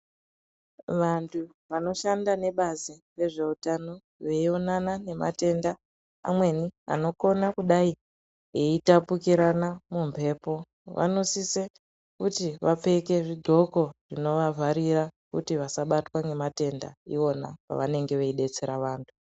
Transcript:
Vantu vanoshanda nevazi rezveutano veionana nematenda amweni anokona kudai eitapukirana mumhepo vanosise kuti vapfeke zvidxoko zvinovavharira kuti vasabatwa nematenda iwona avanenge veidetsera antu.